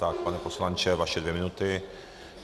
Tak, pane poslanče, vaše dvě minuty.